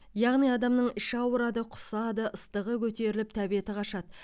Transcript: яғни адамның іші ауырады құсады ыстығы көтеріліп тәбеті қашады